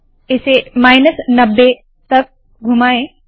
इसे माइनस 90 तक घुमाए